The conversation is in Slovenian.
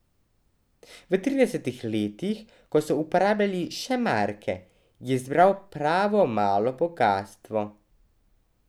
V tridesetih letih, ko so uporabljali še marke, je zbral pravo malo bogastvo.